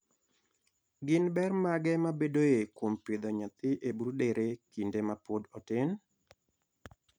Gin ber mage mabedoe kuom pidho nyathi e broodere kinde ma pod otin?